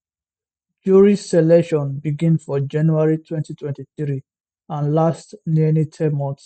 jury selection begin for january 2023 and last nearly ten months